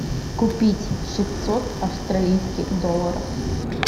купить шестьсот австралийских долларов